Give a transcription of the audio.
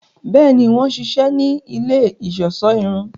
Bẹẹni, wọn ṣiṣẹ ni ilé iṣọṣọ irun